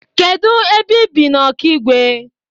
Kedụ ebe i bi n'Ọkịgwe?